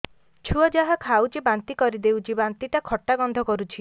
ଛୁଆ ଯାହା ଖାଉଛି ବାନ୍ତି କରିଦଉଛି ବାନ୍ତି ଟା ଖଟା ଗନ୍ଧ କରୁଛି